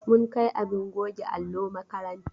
Mun kai abin goge allo makaranta.